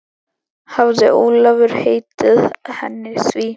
Hafði Ólafur heitið henni því.